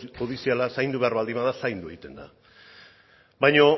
judiziala zaindu behar bada zaindu egiten da baina